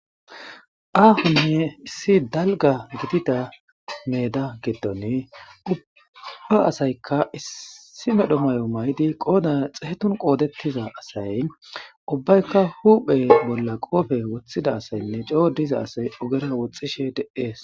aahunne issi dalga gidida meeda giddone ubba asaykka issi medho mayo maydi qooda xeetun qoodettiza asay ubbaykka huuphe bolla qoofe woththida asaynne coo diza asay ogera woxxishe deees